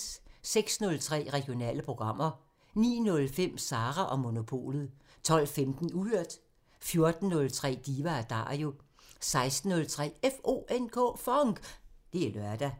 06:03: Regionale programmer 09:05: Sara & Monopolet 12:15: Uhørt 14:03: Diva & Dario 16:03: FONK! Det er lørdag